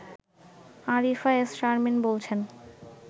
Arifa S Sharmin বলছেন